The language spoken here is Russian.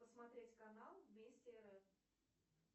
посмотреть канал вместе рф